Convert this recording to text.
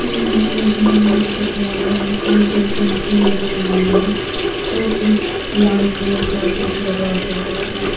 यह एक मंदिर दिख रहा है जिसमें दो पंखे लगे हुए हैं और एक लाल कलर का गेट लगा हुआ है।